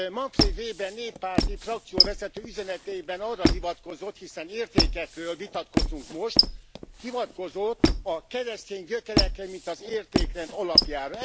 Manfred Weber néppárti frakcióvezető üzenetében arra hivatkozott, hiszen értékekről vitatkozunk most, hivatkozott a keresztény gyökerekre, mint az értékrend alapjára.